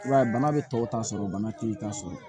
I b'a ye bana bɛ tɔw ta sɔrɔ bana te i ta sɔrɔ